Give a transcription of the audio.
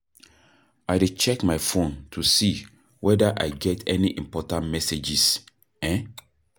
i dey check my phone to see whether i get any important messages. um